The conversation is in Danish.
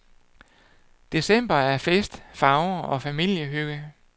December er fest, farver og familiehygge.